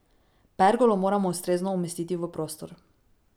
Pergolo moramo ustrezno umestiti v prostor.